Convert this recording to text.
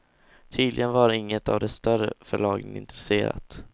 Tydligen var inget av de större förlagen intresserat.